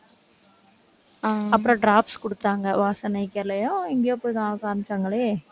அப்புறம் drops குடுத்தாங்க, Vasan eye கேர்லயோ எங்கேயோ போய்தான் காமிச்சாங்களே.